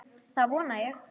Það vona ég